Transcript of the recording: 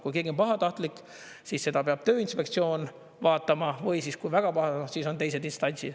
Kui keegi on pahatahtlik, siis seda peab Tööinspektsioon vaatama, või siis, kui väga pahatahtlik, siis teised instantsid.